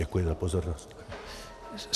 Děkuji za pozornost.